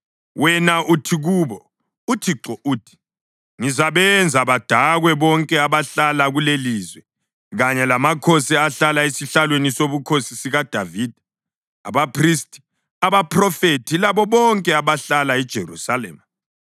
wena uthi kubo, ‘ UThixo uthi: Ngizabenza badakwe bonke abahlala kulelilizwe, kanye lamakhosi ahlala esihlalweni sobukhosi sikaDavida, abaphristi, abaphrofethi labo bonke abahlala eJerusalema.